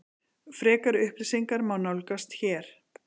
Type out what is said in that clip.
Frekari upplýsingar má nálgast hér